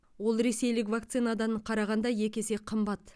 ол ресейлік вакцинадан қарағанда екі есе қымбат